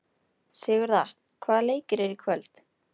Sigurða, hvaða leikir eru í kvöld?